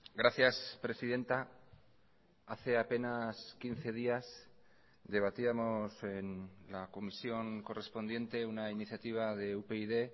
gracias presidenta hace apenas quince días debatíamos en la comisión correspondiente una iniciativa de upyd